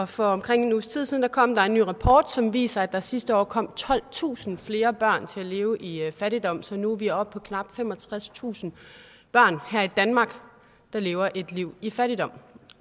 for omkring en uges tid siden kom der en ny rapport som viser at der sidste år kom tolvtusind flere børn til at leve i fattigdom så nu er vi oppe på knap femogtredstusind børn her i danmark der lever et liv i fattigdom